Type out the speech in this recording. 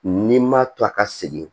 N'i ma to a ka segin